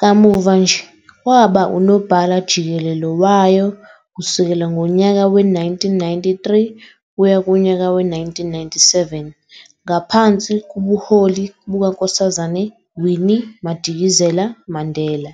kamuva nje waba unobhala-jikelele wayo kusukela ngonyaka we-1993 kuya kunyaka we-1997 ngaphansi kubuholi buka Nkk Winnie Madikizela-Mandela.